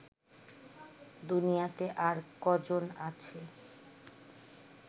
দুনিয়াতে আর কজন আছে